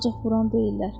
Ancaq vuran deyillər.